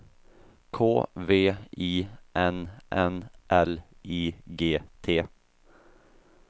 K V I N N L I G T